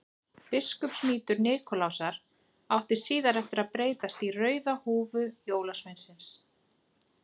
Biskupsmítur Nikulásar átti síðar eftir að breytast í rauða húfu jólasveinsins.